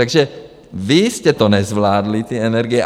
Takže vy jste to nezvládli, ty energie.